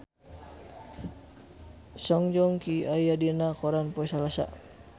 Song Joong Ki aya dina koran poe Salasa